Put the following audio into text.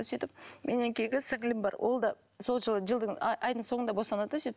сөйтіп менен кейінгі сіңлілім бар ол да сол жылы жылдың а айдың соңында босанады да сөйтіп